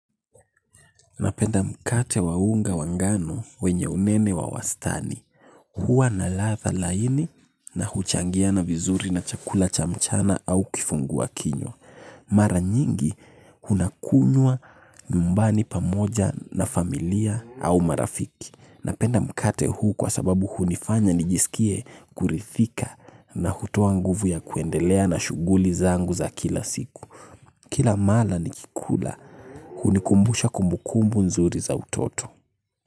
Napenda mkate wa unga wa ngano wenye unene wa wastani. Hua na ladha laini na huchangiana vizuri na chakula cha mchana au kifungua kinywa. Mara nyingi unakunywa nyumbani pamoja na familia au marafiki. Napenda mkate huu kwa sababu hunifanya nijisikie kuridhika na hutoa nguvu ya kuendelea na shuguli zangu za kila siku. Kila mala nikikula hunikumbusha kumbukumbu nzuri za utoto.